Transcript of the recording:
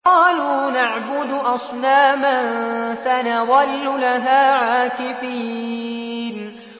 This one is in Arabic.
قَالُوا نَعْبُدُ أَصْنَامًا فَنَظَلُّ لَهَا عَاكِفِينَ